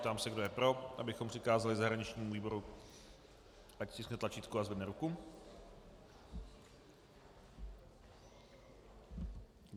Ptám se, kdo je pro, abychom přikázali zahraničnímu výboru, ať stiskne tlačítko a zvedne ruku.